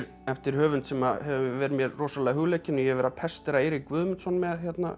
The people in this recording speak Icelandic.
eftir höfund sem hefur verið mér rosalega hugleikinn og ég hef verið að pestera Eirík Guðmundsson með